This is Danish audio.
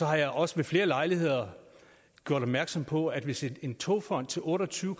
har jeg også ved flere lejligheder gjort opmærksom på at hvis en togfond til otte og tyve